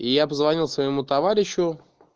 и я позвонил своему товарищу